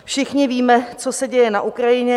Všichni víme, co se děje na Ukrajině.